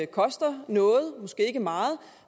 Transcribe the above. koster noget måske ikke meget